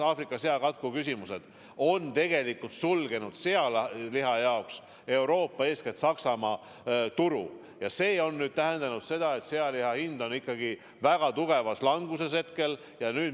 Aafrika seakatku tõttu on tegelikult sealiha ees Euroopa, eeskätt Saksamaa turg suletud ja see tähendab seda, et sealiha hind on praegu väga tugevas languses.